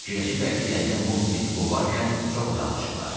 Fikirləşiblər ki, yəqin Mobi Diki qovarkən çox uzaqlaşıblar.